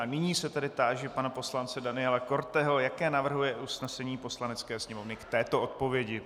A nyní se tedy táži pana poslance Daniela Korteho, jaké navrhuje usnesení Poslanecké sněmovny k této odpovědi.